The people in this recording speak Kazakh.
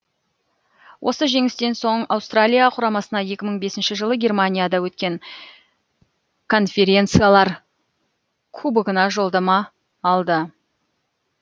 осы жеңістен соң аустралия құрамасына екі мың бесінші жылы германияда өткен конференциялар кубогына жолдама алды